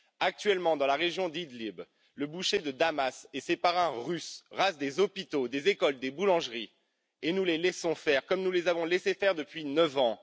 Actuellement, dans la région d'Idlib, le boucher de Damas et ses parrains russes rasent des hôpitaux, des écoles, des boulangeries, et nous les laissons faire comme nous les avons laissé faire depuis neuf ans.